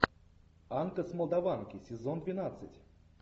анка с молдаванки сезон двенадцать